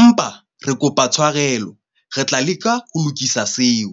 Empa re kopa tshwarelo re tla leka ho lokisa seo.